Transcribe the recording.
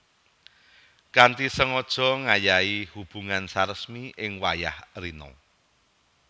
Kanthi sengaja ngayahi hubungan saresmi ing wayah rina